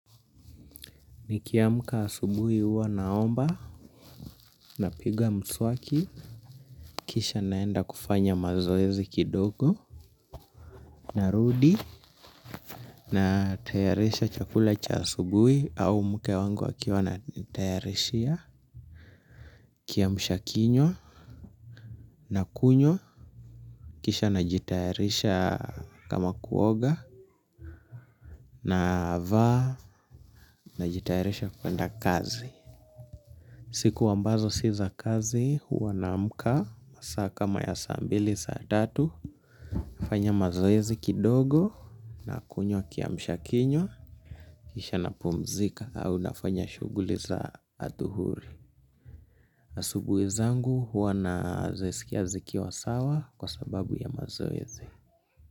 Nikiamka asubuhi huwa naomba, napiga mswaki kisha naenda kufanya mazoezi kidogo, narudi, natayarisha chakula cha asubuhi au mke wangu akiwa ananitayarishia kiamsha kinywa, nakunywa, kisha najitayarisha kama kuoga, navaa, najitayarisha kwenda kazi. Siku ambazo si za kazi huwa naamka masaa kama ya saa mbili saa tatu. Nafanya mazoezi kidogo, nakunywa kiamsha kinywa kisha na pumzika au nafanya shughuli za athuhuri. Asubuhi zangu huwa na zisikia zikiwa sawa kwa sababu ya mazoezi.